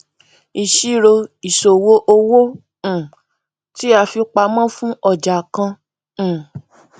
ìṣirò ìṣòwò owó um tí a fi pamọ fún ọjà kan um